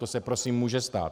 To se prosím může stát.